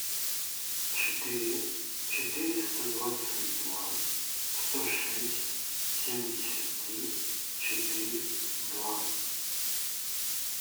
четыре четыреста двадцать два сто шесть семьдесят три четыре два